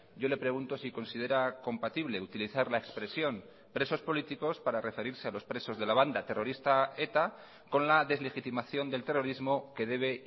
yo le pregunto si considera compatible utilizar la expresión presos políticos para referirse a los presos de la banda terrorista eta con la deslegitimación del terrorismo que debe